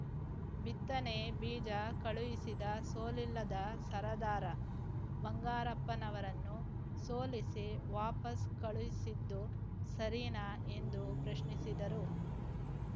ಬಿತ್ತನೆ ಬೀಜ ಕಳುಹಿಸಿದ ಸೋಲಿಲ್ಲದ ಸರದಾರ ಬಂಗಾರಪ್ಪನವರನ್ನು ಸೋಲಿಸಿ ವಾಪಸ್‌ ಕಳುಹಿಸಿದ್ದು ಸರಿನಾ ಎಂದು ಪ್ರಶ್ನಿಸಿದರು